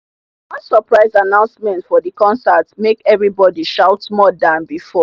one surprise announcement for the concert make everybody shout more than before.